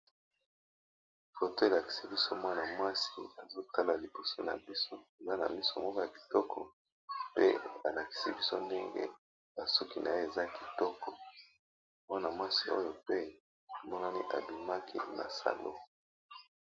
Foto elakisi biso mwana mwasi azotala liboso na biso aza na miso moko ya kitoko pe alakisi biso ndenge basuki na ye eza kitoko, mwana-mwasi oyo pe monani abimaki na salon.